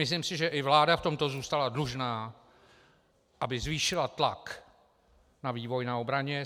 Myslím si, že i vláda v tomto zůstala dlužná, aby zvýšila tlak na vývoj na obraně.